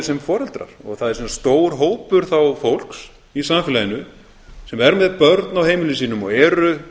sem foreldrar og það er sem sagt stór hópur fólks í samfélaginu sem er með börn á heimilum sínum og eru